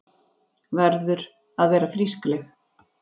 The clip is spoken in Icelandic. Verður að vera frískleg.